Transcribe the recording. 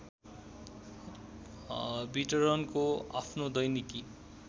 वितरणको आफ्नो दैनिकी